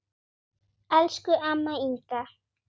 Elsku amma Inga.